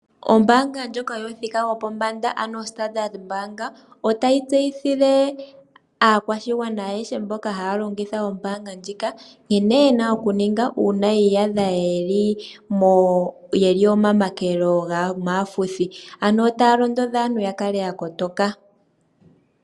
Ombaanga ndjoka yomuthika gopombanda yoStandard otayi tseyithile aakwashigwana ayehe mboka haya longitha ombaanga ndjika nkene ye na okuninga uuna yi iyadha ye li omamakelelo gaafuthi ano otaya londodha aantu ya kale ya kotoka.